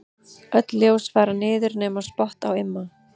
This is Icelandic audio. Öll ljós fara niður nema spott á Imma.